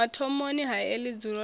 mathomoni a heḽi dzulo ḽa